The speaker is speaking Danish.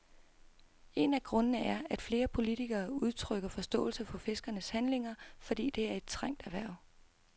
En af grundene er, at flere politikere udtrykker forståelse for fiskernes handlinger, fordi det er et trængt erhverv.